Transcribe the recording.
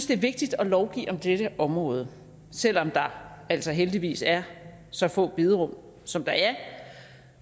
det er vigtigt at lovgive på dette område selv om der altså heldigvis er så få bederum som der er